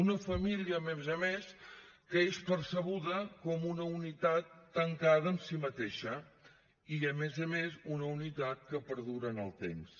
una família a més a més que és percebuda com una unitat tancada en si mateixa i a més a més una unitat que perdura en el temps